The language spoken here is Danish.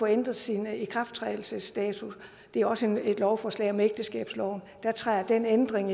ændret sin ikrafttrædelsesdato det er også et lovforslag om ægteskabsloven den ændring